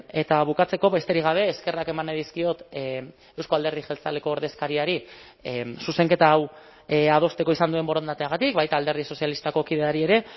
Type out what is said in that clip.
eta bukatzeko besterik gabe eskerrak eman nahi dizkiot euzko alderdi jeltzaleko ordezkariari zuzenketa hau adosteko izan duen borondateagatik baita alderdi sozialistako kideari ere